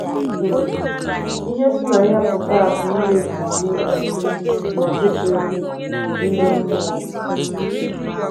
um Ihe si na ya pụta bụ mmebi iwu omume na ọchịchịrị ime mmụọ.